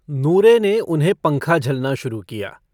नूरे ने उन्हें पंखा झलना शुरू किया।